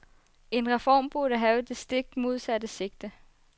En reform burde have det stik modsatte sigte.